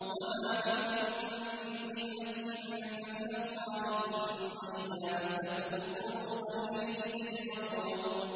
وَمَا بِكُم مِّن نِّعْمَةٍ فَمِنَ اللَّهِ ۖ ثُمَّ إِذَا مَسَّكُمُ الضُّرُّ فَإِلَيْهِ تَجْأَرُونَ